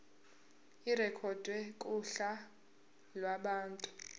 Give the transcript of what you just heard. irekhodwe kuhla lwabantu